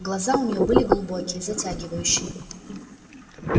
глаза у нее были глубокие затягивающие